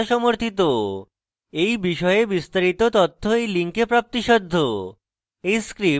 এই বিষয়ে বিস্তারিত তথ্য এই link প্রাপ্তিসাধ্য